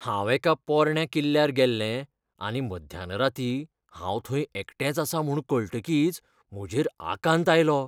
हांव एका पोरण्या किल्ल्यार गेल्लें आनी मध्यान रातीं हांव थंय एकटेंच आसां म्हूण कळटकीच म्हजेर आकांत आयलो.